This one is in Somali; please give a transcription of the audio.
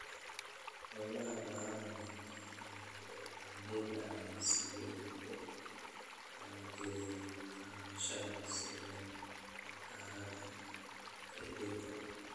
Hawlaha baaxadda leh ee beeralayda ayaa si weyn u maalgeliya kaabayaasha sida bakhaarada kaydinta.